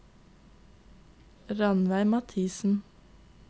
Rannveig Mathisen